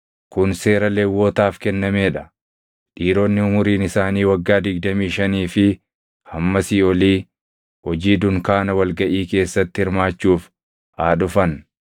“Kun seera Lewwotaaf kennamee dha: Dhiironni umuriin isaanii waggaa digdamii shanii fi hammasii olii hojii dunkaana wal gaʼii keessatti hirmaachuuf haa dhufan;